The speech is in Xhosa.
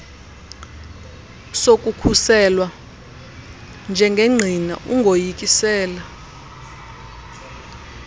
sokukhuselwa njengengqina ungoyikisela